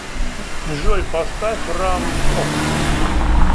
джой поставь рам пот